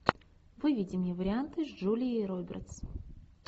выведи мне варианты с джулией робертс